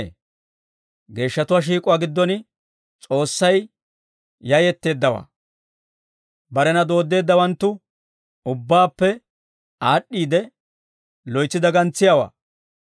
Geeshshatuwaa shiik'uwaa giddon S'oossay yayetteeddawaa. Barena dooddeeddawanttu ubbaappe aad'd'iide, loytsi dagantsiyaawaa.